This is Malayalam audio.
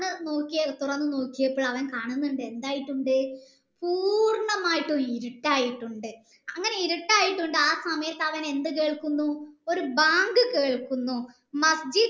തുറന്നു നോക്കിയപ്പോൾ എന്തായിട്ടുണ്ട് പൂർണ്ണമായിട്ടും ഇരുട്ടായിട്ടുണ്ട് അങ്ങനെ ഇരുട്ട് ആയിട്ടുണ്ട് അങ്ങനെ ആ സമയത്തു അവൻ എന്ത് കേൾക്കുന്നു ഒരു ബാങ്ക് കേൾക്കുന്നു